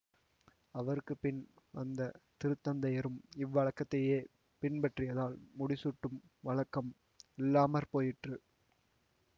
அவருக்குப்பின் வந்த திருத்தந்தையரும் இவ்வழக்கத்தையேப் பின்பற்றியதால் முடிசூட்டும் வழக்கம் இல்லாமற்போயிற்று